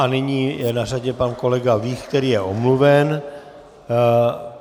A nyní je na řadě pan kolega Vích, který je omluven.